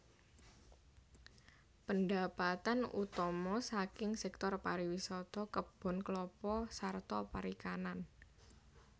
Pendapatan utama saking sektor pariwisata kebon klapa sarta perikanan